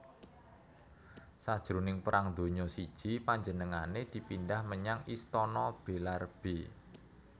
Sajroning Perang Donya I panjenengané dipindhah menyang Istana Belarbe